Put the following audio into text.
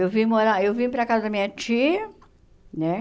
Eu vim morar eu vim para casa da minha tia, né?